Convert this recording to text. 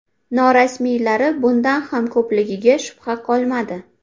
Norasmiylari bundan ham ko‘pligiga shubha qolmadi.